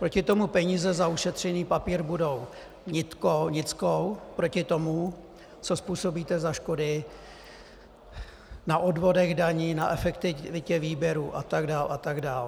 Proti tomu peníze za ušetřený papír budou nickou proti tomu, co způsobíte za škody na odvodech daní, na efektivitě výběru, a tak dál a tak dál.